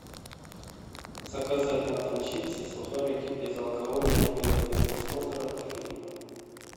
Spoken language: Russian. заказать на дом чипсы сухарики безалкогольное пиво для просмотра фильма